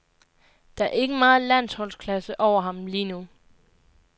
Der er ikke meget landsholdsklasse over ham lige nu.